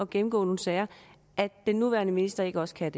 gennemgå nogle sager at den nuværende minister ikke også kan